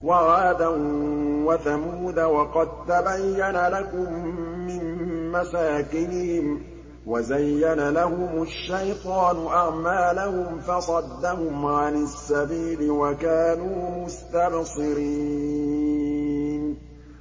وَعَادًا وَثَمُودَ وَقَد تَّبَيَّنَ لَكُم مِّن مَّسَاكِنِهِمْ ۖ وَزَيَّنَ لَهُمُ الشَّيْطَانُ أَعْمَالَهُمْ فَصَدَّهُمْ عَنِ السَّبِيلِ وَكَانُوا مُسْتَبْصِرِينَ